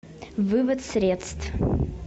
вывод средств